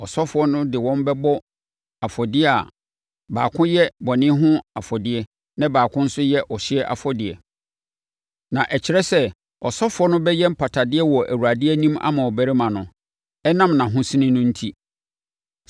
Ɔsɔfoɔ no de wɔn bɛbɔ afɔdeɛ a baako yɛ bɔne ho afɔdeɛ na baako no nso yɛ ɔhyeɛ afɔdeɛ; na ɛkyerɛ sɛ, ɔsɔfoɔ no bɛyɛ mpatadeɛ wɔ Awurade anim ama ɔbarima no, ɛnam nʼahosene no enti.